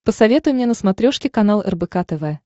посоветуй мне на смотрешке канал рбк тв